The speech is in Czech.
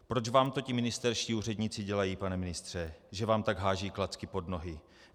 Proč vám to ti ministerští úředníci dělají, pane ministře, že vám tak hážou klacky pod nohy?